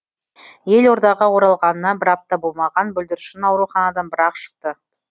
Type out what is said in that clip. елордаға оралғанына бір апта болмаған бүлдіршін ауруханадан бір ақ шықты